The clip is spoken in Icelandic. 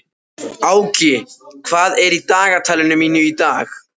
Áki, hvað er í dagatalinu mínu í dag?